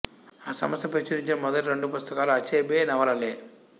ఆ సంస్థ ప్రచురించిన మొదటి రెండు పుస్తకాలు అచెబె నవలలే